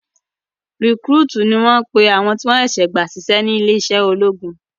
Rìkrútìì ni wọ́n pe àwọn tí wọ́n ṣé